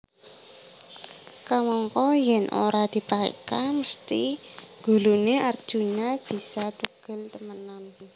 Kamangka yèn ora dipaéka mesthi guluné Arjuna bisa tugel temenan